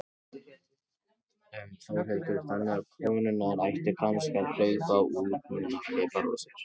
Þórhildur: Þannig að konurnar ættu kannski að hlaupa út núna og kaupa rósir?